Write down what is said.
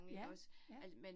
Ja, ja